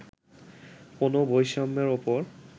কোনও বৈষম্যের ওপর